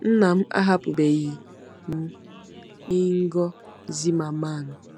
“ Nna m ahapụbeghị m.”— INGO ZIMMERMANN